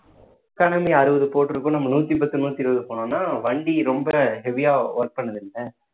economy அறுபது போட்டுருக்கும் நம்ம நூத்தி பத்து நூத்தி இருபது போனோம்ன்னா வண்டி ரொம்ப heavy ஆ work பண்ணது இல்லை